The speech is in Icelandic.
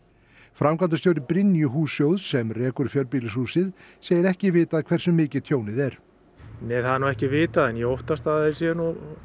framkvæmdastjóri Brynju hússjóðs sem rekur fjölbýlishúsið segir ekki vitað hversu mikið tjónið er nei það er ekki vitað en ég óttast að þeir séu